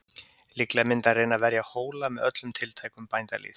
Líklega myndi hann reyna að verja Hóla með öllum tiltækum bændalýð.